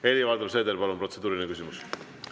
Helir-Valdor Seeder, palun, protseduuriline küsimus!